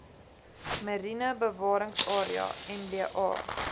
mariene bewaringsarea mba